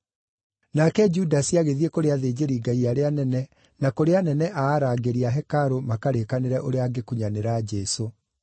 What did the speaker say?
Nake Judasi agĩthiĩ kũrĩ athĩnjĩri-Ngai arĩa anene na kũrĩ anene a arangĩri a hekarũ makarĩkanĩre ũrĩa angĩkunyanĩra Jesũ.